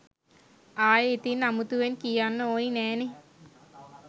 ආයේ ඉතින් අමුතුවෙන් කියන්න ඕනි නෑනේ